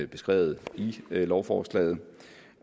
beskrevet i lovforslaget